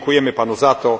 Dziękujemy Panu za to!